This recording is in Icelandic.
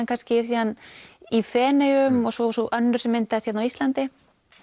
kannski síðan í Feneyjum og svo og svo önnur sem myndaðist hérna á Íslandi